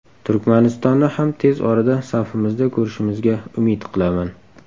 Turkmanistonni ham tez orada safimizda ko‘rishimizga umid qilaman.